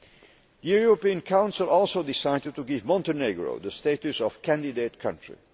The European Council also decided to give Montenegro the status of candidate country.